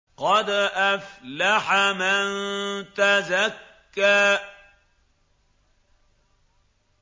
قَدْ أَفْلَحَ مَن تَزَكَّىٰ